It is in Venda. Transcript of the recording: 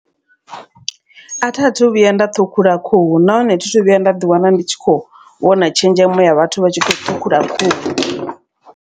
A tha thu vhuya nda ṱhukhula khuhu nahone thithu vhuya nda ḓi wana ndi tshi khou vhona tshenzhemo ya vhathu vha tshi kho ṱhukhula khuhu.